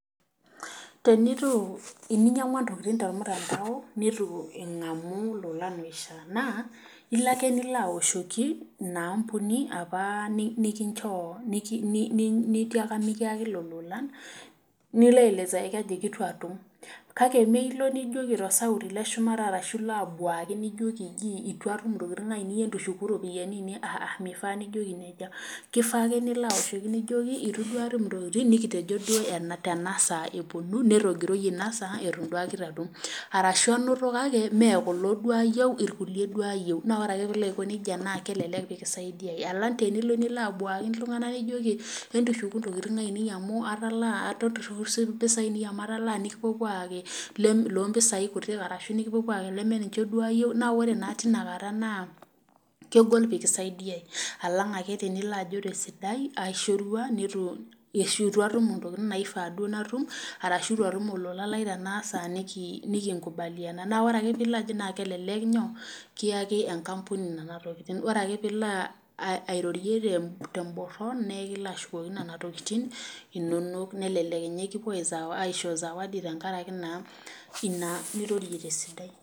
Teninyangua intokiting tormutandao neitu ingamu oishaa ,naas ilo ake nilo aoshoki ina ambunai apa nitiaaka mikiyaki lelo olan ,nilo aelezaki ajoki eitu itum ,kake mee ilo nijoki tosauti leshumata orashu nilo abuaki nijoki eji etum antum intokiting ainei entushuku ropiani ainei ,meifaa nijoki nejia ,keifaa ake nilo aoshoki nijoiki itum duo atum intokiting nikitejo duo tenasaa eponu netogiroyie ina saa eton duake eitu atum .orashu anoto kake mee kulo duo ayieu irkulie duo ayieu kake ore ake pee ilo aiko nejia naa kelelek kisaidia alang tenilo nilo abwaaki iltunganak nijoki entushuku intokiting aienei amu atalaa ashu entushuku ntokiting aiane amu atalaa mpisai kumok nikipuopuo ayaki loo mpisai kutik orashu nikipuopuo ayaki leme ninche duo ayieu naa ore naa tinakata naa kegol pee kisaidiai ,alang ake nilo ajo tesidai aishorua ashu eitu atum intokiting naifaa duo natum orashu eitu atum olola lai tenasaa nikinkubaliana. naa ore ake pee ilo ajo nejia naa kelelek kiyaki enkampuni nena tokiting. ore ale pee ilo airorie temboron naa ekilo ashukoki nena tokiting inonok nikipuo aisho zawadi tenkaraki naa ina nirorie tesidai.